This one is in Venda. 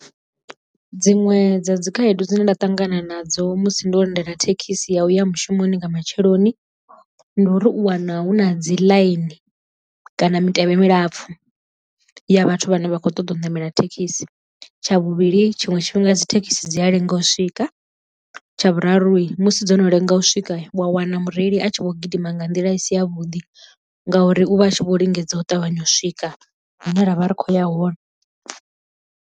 Dziṅwe dza dzi khaedu dzine nda ṱangana nadzo musi ndo lindela thekhisi ya uya mushumoni nga matsheloni ndu ri u wana hu na dzi ḽaini kana mitevhe milapfu ya vhathu vhane vha khou ṱoḓa u ṋamela thekhisi. Tsha vhuvhili tshiṅwe tshifhinga dzi thekhisi dzi a lenga u swika. Tsha vhuraru musi dzo no lenga u swika wa wana mureili a tshi kho gidima nga nḓila isi ya vhuḓi ngauri u vha a tshi vho lingedza u ṱavhanya u swika hune ra vha ri khou ya hone.